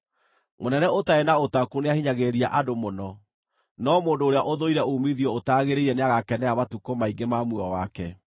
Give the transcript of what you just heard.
Mũnene ũtarĩ na ũtaũku nĩahinyagĩrĩria andũ mũno, no mũndũ ũrĩa ũthũire uumithio ũtagĩrĩire nĩagakenera matukũ maingĩ ma muoyo wake.